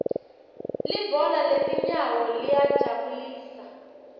libhola letinyawo liyajabulisa